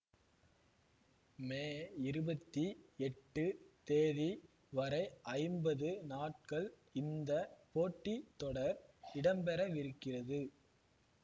மே இருபத்தி எட்டு தேதி வரை ஐம்பது நாட்கள் இந்த போட்டி தொடர் இடம்பெறவிருக்கிறது